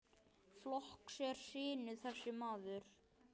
Flokks er sinni þessi maður.